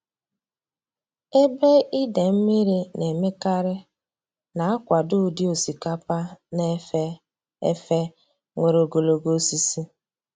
Ebe ide mmiri na-emekarị na-akwado ụdị osikapa na-efe efe nwere ogologo osisi.